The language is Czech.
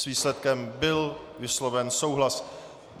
S výsledkem byl vysloven souhlas.